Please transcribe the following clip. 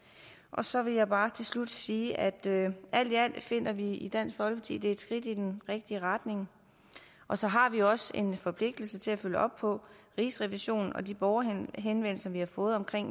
og så vil jeg bare til slut sige at alt i alt finder vi i dansk folkeparti at det er et skridt i den rigtige retning og så har vi også en forpligtelse til at følge op på rigsrevisionen og de borgerhenvendelser vi har fået om